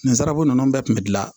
Nanzsara ko nunnu bɛɛ kun bɛ gilan